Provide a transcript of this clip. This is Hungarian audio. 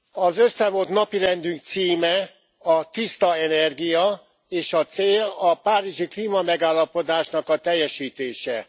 Az összevont napirendünk címe a Tiszta energia, és a cél a párizsi klímamegállapodásnak a teljesítése.